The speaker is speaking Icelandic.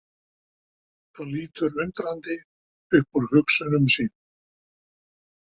Hann lítur undrandi upp úr hugsunum sínum.